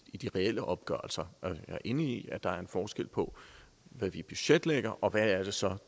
i de reelle opgørelser jeg er enig i at der er forskel på hvad vi budgetlægger og hvad det så